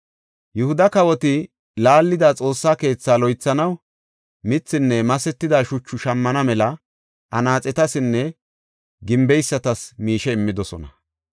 Yihuda kawoti laallida Xoossa keethaa loythanaw mithinne masetida shuchu shammana mela anaaxetasinne gimbeysatas miishe immidosona.